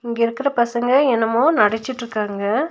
இங்கே இருக்கிற பசங்க என்னமோ நடிச்சிட்ருக்காங்க.